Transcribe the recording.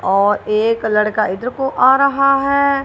और एक लड़का इधर को आ रहा है।